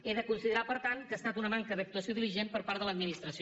he de considerar per tant que ha estat una manca d’actuació diligent per part de l’administració